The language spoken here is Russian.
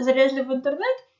залезли в интернет